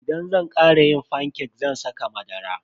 Idan zan kara yin fanke zan saka madara.